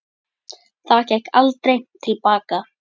Það gekk aldrei til baka.